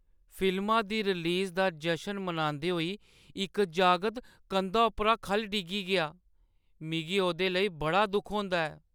फिल्मा दी रिलीज दा जश्न मनांदे होई इक जागत कंधा परा खʼल्ल डिग्गी गेआ। मिगी ओह्दे लेई बड़ा दुख होंदा ऐ।